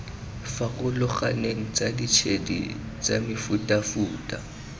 farologaneng tsa ditshedi tsa mefutafuta